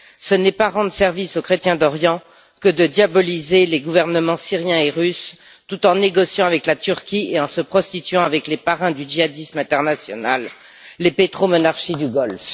Ce n'est pas rendre service aux chrétiens d'Orient que de diaboliser les gouvernements syrien et russe tout en négociant avec la Turquie et en se prostituant avec les parrains du djihadisme international, les pétromonarchies du Golfe.